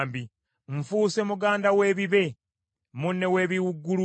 Nfuuse muganda w’ebibe, munne w’ebiwuugulu.